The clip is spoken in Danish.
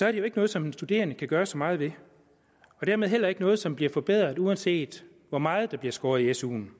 er det jo ikke noget som en studerende kan gøre så meget ved og dermed heller ikke noget som bliver forbedret uanset hvor meget der bliver skåret i suen